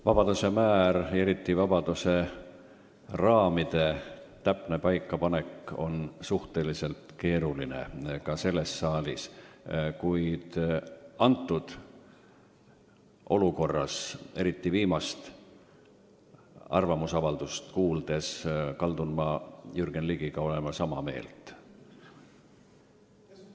Vabaduse määr ja eriti vabaduse raamide täpne paikapanek on suhteliselt keeruline ka selles saalis, kuid praegu, eriti olles kuulnud viimast arvamusavaldust, kaldun ma olema Jürgen Ligiga sama meelt.